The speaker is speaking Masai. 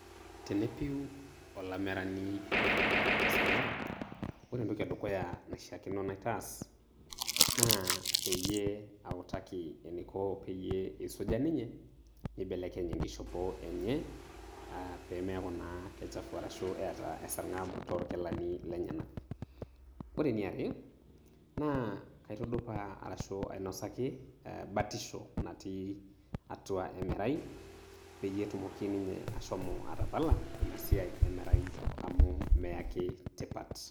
tenepiu olamerani oiraga te sargab, ore entoki edukuya naishaakino naitaas, naa peyie autaki eniko peyie eisuja ninye, neibelekeny enkishopo enye, pee meyaku kichafu arashu eeta esargab toorkilani lenyanak. ore eniare, naa kaitudupaa arshu ainosaki batisho natii, atua emerai, peyie etumoki ninye ashomo atapala ina siai emerai amu meyaki tipat.